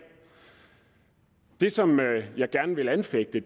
det som jeg gerne vil anfægte